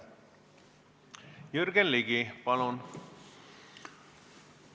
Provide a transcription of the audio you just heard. Jürgen Ligi, palun!